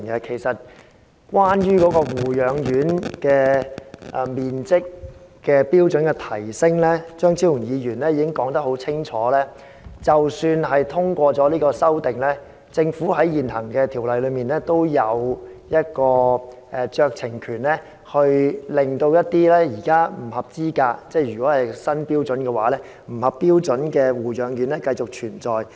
其實關於提升護養院人均樓面面積的標準，張超雄議員已清楚指出，即使他的修正案獲得通過，政府在現行條例下仍有酌情權，可以容許現時在新標準下不合資格或不合標準的護養院繼續存在。